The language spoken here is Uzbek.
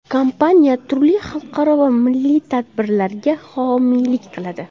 Kompaniya turli xalqaro va milliy tadbirlarga homiylik qiladi.